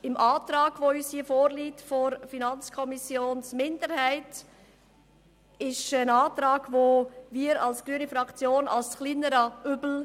Den Antrag der FiKo-Minderheit, der uns vorliegt, bezeichnen wir seitens der grünen Fraktion als kleineres Übel.